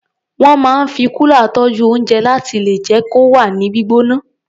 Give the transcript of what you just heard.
Wọ́n máa ń fi kúlà tọ́jú oúnjẹ láti lè jẹ́ kó wà ní gbígbóná.